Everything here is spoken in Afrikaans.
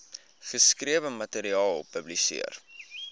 geskrewe materiaal publiseer